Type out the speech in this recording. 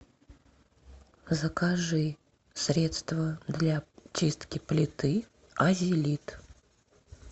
закажи средство для чистки плиты азелит